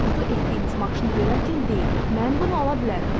Arzu etdiyiniz maşını görərkən deyin: mən bunu ala bilərəm.